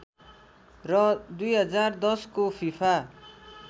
र २०१० को फीफा